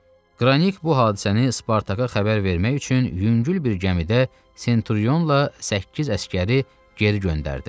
Qranik bu hadisəni Spartaka xəbər vermək üçün yüngül bir gəmidə Senturionla səkkiz əsgəri geri göndərdi.